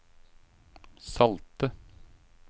salte